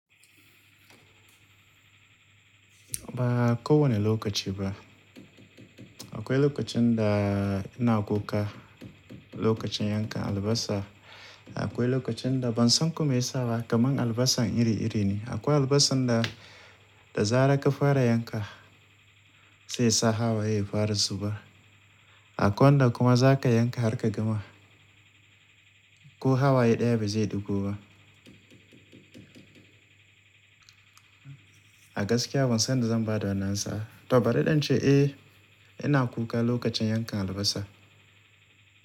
Ba kowane lokaci ba. Akwai lokacin da ina kuka lokacin yanka albasa. Akwai lokacin da ban san kome ya sa kamar albasa iri-iri ne. Akwai albasa da, da zarar ka fara yanka sai yasa hawa ye yafara su ba. Akwai wanda kuma za ka yanka har ka gama ko hawa ye ɗaya ba zai ɗugo ba. A gaskiya ban san yanda zan ba da wannan sa. To bari in ce eh ina kuka lokacin yankan albasa.